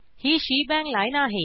ही shebang line आहे